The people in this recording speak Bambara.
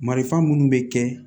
Marifa minnu bɛ kɛ